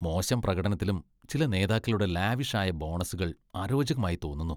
മോശം പ്രകടനത്തിലും ചില നേതാക്കളുടെ ലാവിഷ് ആയ ബോണസുകൾ അരോചകമായി തോന്നുന്നു.